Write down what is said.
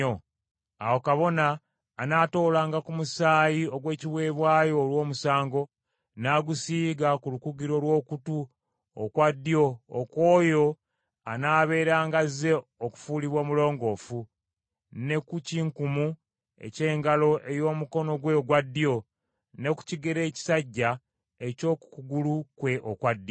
Awo kabona anaatoolanga ku musaayi ogw’ekiweebwayo olw’omusango n’agusiiga ku lukugiro lw’okutu okwa ddyo okw’oyo anaabeeranga azze okufuulibwa omulongoofu, ne ku kinkumu eky’engalo ey’omukono gwe ogwa ddyo, ne ku kigere ekisajja eky’oku kugulu kwe okwa ddyo.